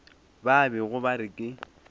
ba bego ba re ke